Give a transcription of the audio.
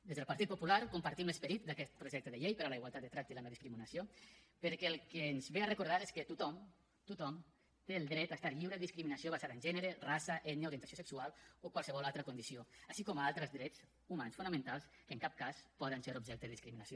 des del partit popular compartim l’esperit d’aquest projecte de llei per a la igualtat de tracte i la no discriminació perquè el que ens ve a recordar és que tothom tothom té el dret a estar lliure de discriminació basada en gènere raça ètnia orientació sexual o qualsevol altra condició així com altres drets humans fonamentals que en cap cas poden ser objecte de discriminació